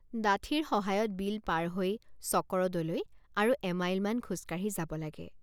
ডাঠিৰ সহায়ত বিল পাৰ হৈ চকৰদলৈ আৰু এমাইলমান খোজ কাঢ়ি যাব লাগে।